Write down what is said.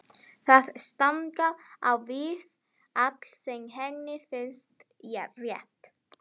Það stangast á við allt sem henni finnst rétt.